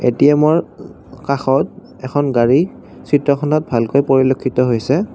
এ_টি_এমৰ অ কাষত এখন গাড়ী চিত্ৰখনত ভালকৈ পৰিলক্ষিত হৈছে।